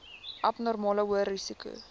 abnormale hoë risiko